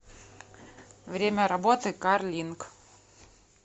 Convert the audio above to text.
время работы кар линк